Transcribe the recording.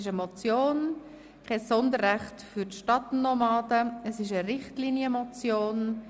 Es handelt sich um eine Richtlinienmotion.